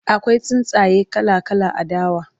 akwai tsuntsaye kala kala a dawa